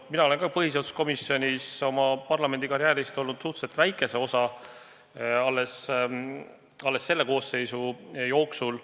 Mina olen põhiseaduskomisjonis oma parlamendikarjääri jooksul olnud suhteliselt vähe aega, alles selle koosseisu jooksul.